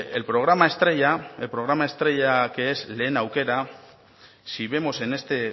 el programa estrella que es lehen aukera si vemos en este